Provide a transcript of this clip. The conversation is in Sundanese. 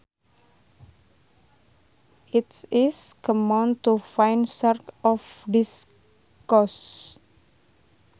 It is common to find sharks off this coast